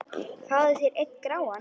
Fáðu þér einn gráan!